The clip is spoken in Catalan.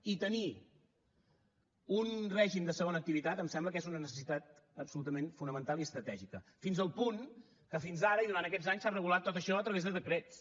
i tenir un règim de segona activitat em sembla que és una necessitat absolutament fonamental i estratègica fins al punt que fins ara i durant aquests anys s’ha regulat tot això a través de decrets